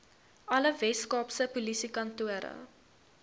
alle weskaapse polisiekantore